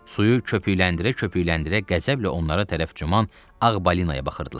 Suyu köpükləndirə-köpükləndirə qəzəblə onlara tərəf cuman ağ balinaya baxırdılar.